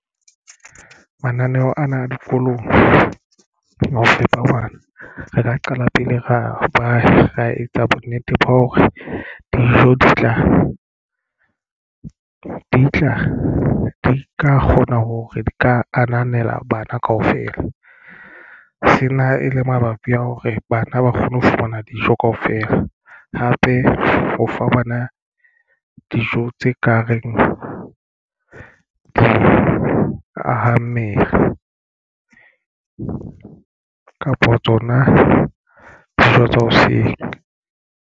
Mananeo ana a dikolong ho fepa bana. Re ka qala pele ra ba ra etsa bonnete ba hore dijo di tla di ka kgona hore di ka ananela bana kaofela. Sena e le mabapi a hore bana ba kgone ho fumana dijo kaofela hape ho fa bana dijo tse ka reng di ahammele kapo tsona dijo tsa hoseng.